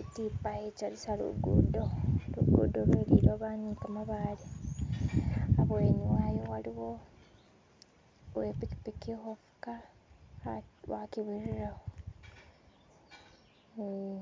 itipa ichalisa lugudo, lugudo lweliloba nikamabaale abweni wayo waliwo uwepikipiki hufuka wakibirireho ee